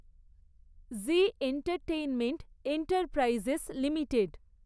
G entertainment enterprises limited